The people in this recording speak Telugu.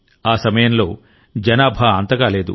ఆ సమయంలో జనాభా అంతగా లేదు